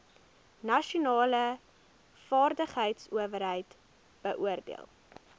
nasionale vaardigheidsowerheid beoordeel